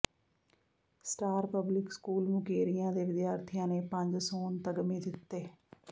star public school Mukerian ਦੇ ਵਿਦਿਆਰਥੀਆਂ ਨੇ ਪੰਜ ਸੋਨ ਤਗਮੇ ਜਿੱਤੇ